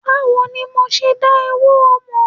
Báwo ni ma ṣe dá ewuro mọ̀?